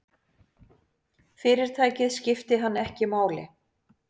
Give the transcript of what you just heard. Fyrirtækið skipti hann ekki máli.